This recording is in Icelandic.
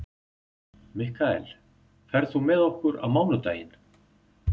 Mikkael, ferð þú með okkur á mánudaginn?